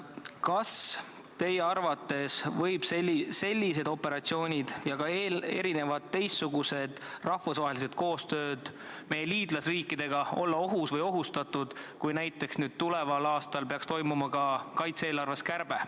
Kas teie arvates võivad sellised operatsioonid ja teistsugused meie liitlasriikidega toimuva rahvusvahelise koostöö vormid olla ohus või ohustatud, kui näiteks tuleval aastal peaks tehtama ka kaitse-eelarves kärbe?